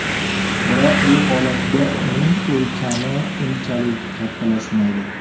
Biroq bu holatda uning o‘lchami unchalik kattalashmaydi.